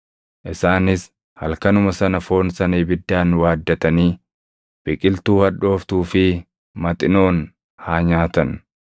Isaanis halkanuma sana foon sana ibiddaan waaddatanii biqiltuu hadhooftuu fi maxinoon haa nyaatan.